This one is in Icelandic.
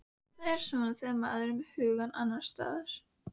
Það er svona þegar maður er með hugann annars staðar.